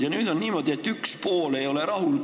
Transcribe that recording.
Ja nüüd on niimoodi, et üks pool ei ole rahul.